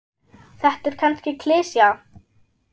Þetta er kannski klisja.